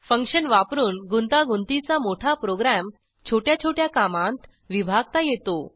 function वापरून गुंतागुंतीचा मोठा प्रोग्रॅम छोट्या छोट्या कामांत विभागता येतो